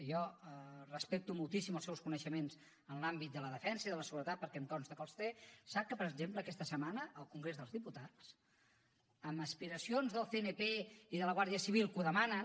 i jo respecto moltíssim els seus coneixements en l’àmbit de la defensa i de la seguretat perquè em consta que els té sap que per exemple aquesta setmana al congrés dels diputats amb aspiracions del cnp i de la guàrdia civil que ho demanen